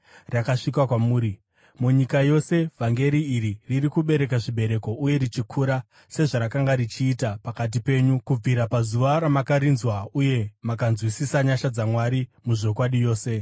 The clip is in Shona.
rakasvika kwamuri. Munyika yose vhangeri iri riri kubereka zvibereko uye richikura sezvarakanga richiita pakati penyu kubvira pazuva ramakarinzwa uye mukanzwisisa nyasha dzaMwari muzvokwadi yose.